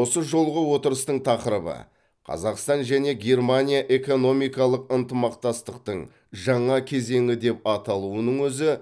осы жолғы отырыстың тақырыбы қазақстан және германия экономикалық ынтымақтастықтың жаңа кезеңі деп аталуының өзі